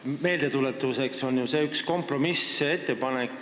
Meeldetuletuseks ütlen, et see on ju kompromissettepanek.